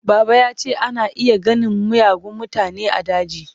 Baba ya ce ana iya ganin miyagun mutane a daji.